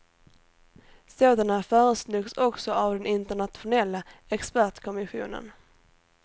Sådana föreslogs också av den internationella expertkommissionen.